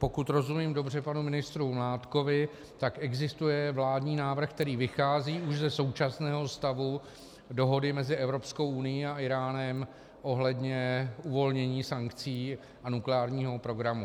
Pokud rozumím dobře panu ministru Mládkovi, tak existuje vládní návrh, který vychází už ze současného stavu dohody mezi Evropskou unií a Íránem ohledně uvolnění sankcí a nukleárního programu.